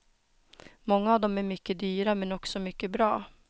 Många av dem är mycket dyra men också mycket bra.